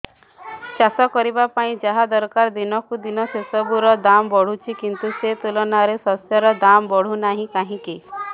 ଚାଷ କରିବା ପାଇଁ ଯାହା ଦରକାର ଦିନକୁ ଦିନ ସେସବୁ ର ଦାମ୍ ବଢୁଛି କିନ୍ତୁ ସେ ତୁଳନାରେ ଶସ୍ୟର ଦାମ୍ ବଢୁନାହିଁ କାହିଁକି